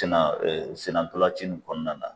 Tenna senna dɔlanci nin kɔnɔna na.